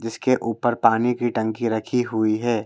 जिसके ऊपर पानी की टंकी रखी हुई है।